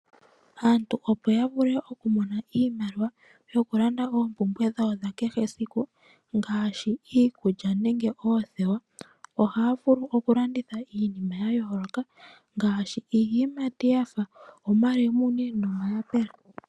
Aantu opo ya vule okumona iimaliwa yoku landa oompumbwe dhawo dha kehe siku ngaashi iikulya nenge oothewa ohaya vulu oku landitha iinima ya yooloka ngaashi iiyimati yafa omalemune nomayapula.